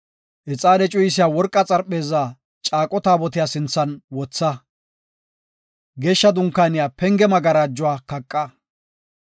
Ixaane cuyisiya worqa xarpheezaa Caaqo Taabotiya sinthan wotha. Geeshsha Dunkaaniya penge magarajuwa kaqa.